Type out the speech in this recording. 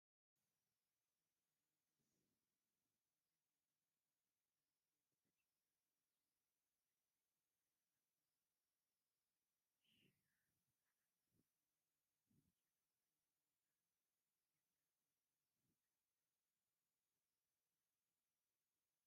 ኣብ ብጣዕሚ ደስ ዝራል ለምለም ቦታ ደቂ ኣነስትዮ ብፍሽኽታ ተመሊአን ይርአያ ኣለዋ፡፡ ሸከም ከዓ እኔወን፡፡ ኣብ ገባር ኩሉ ከከምዓቕሙ ከምዝሰርሕ ትፈልጡ ዶ?